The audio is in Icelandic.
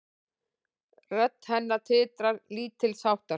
Rödd hennar titrar lítilsháttar.